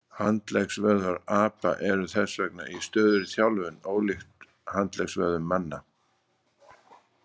Handleggvöðvar apa eru þess vegna í stöðugri þjálfun, ólíkt handleggsvöðum manna.